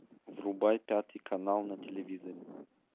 врубай пятый канал на телевизоре